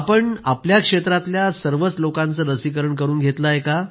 पूनम जी आपण आपल्या क्षेत्रातल्या सर्वच लोकांचं लसीकरण करून घेतलं आहे का